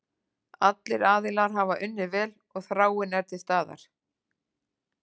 Allir aðilar hafa unnið vel og þráin er til staðar.